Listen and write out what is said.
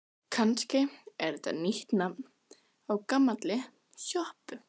Kannski er þetta nýtt nafn á gamalli sjoppu?